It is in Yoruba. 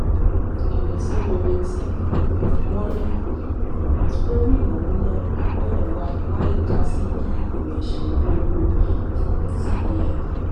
ìrètí rere tí um wọn rí um lórí ìnáwó náà náà wà láìka sí bí ìgbìmọ ìṣèlú owó um cbn